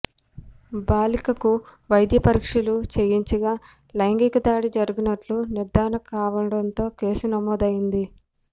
బాలికకు వైద్య పరీక్షలు చేయించగా లైంగిక దాడి జరిగినట్లు నిర్ధారణ కావడంతో కేసు నమోదైంది